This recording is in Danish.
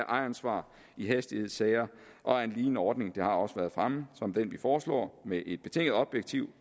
ejeransvar i hastighedssager og at en lignende ordning det har også været fremme som den vi foreslår med et betinget objektivt